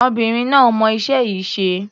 Obìnrin náà mọ iṣẹ́ yìí ṣe.